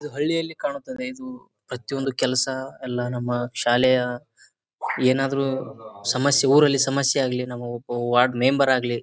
ಇದು ಹಳ್ಳಿಯಲ್ಲಿ ಕಾಣುತ್ತದೆ ಇದು ಪ್ರತಿಯೊಂದು ಕೆಲಸ ಎಲ್ಲ ನಮ್ಮ ಶಾಲೆಯ ಏನಾದ್ರು ಸಮಸ್ಯೆ ಊರಲ್ಲಿ ಸಮಸ್ಯೆ ಆಗಲಿ ನಾವು ವಾರ್ಡ್ ಮೆಂಬರ್ ಆಗ್ಲಿ.